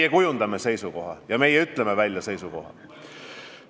Me kujundame seisukoha ja me ütleme selle ka välja.